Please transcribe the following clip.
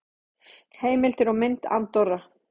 Heimildir og mynd Andorra.